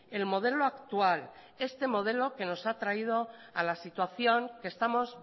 el modelo actual este modelo que nos ha traído a la situación que estamos